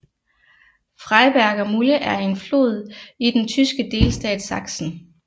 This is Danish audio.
Freiberger Mulde er en flod i den tyske delstat Sachsen